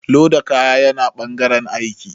Loda kaya yana ɓangaren aiki